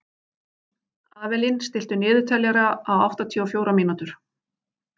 Avelín, stilltu niðurteljara á áttatíu og fjórar mínútur.